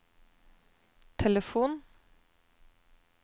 telefon